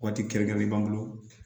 Waati kɛrɛnkɛrɛnnen b'an bolo